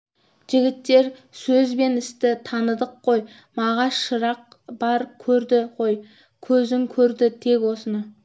жігіттер сөз бен істі таныдық қой мағаш шырақ бар көрді ғой көзің көрді тек осыны